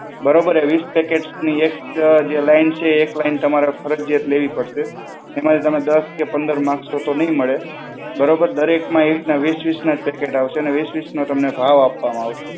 બરોબર? એ વીસ પેકેટ્સની એક જે લાઈન છે એક લાઈન તમારે ફરજિયાત લેવી પડશે. એમાંથી તમે દસ કે પંદર માંગશો તો નહીં મળે. બરોબર? દરેકમાં એકના વીસ વીસ પેકેટ આવશે અને વીસ વીસ નો તમને ભાવ આપવામાં આવશે.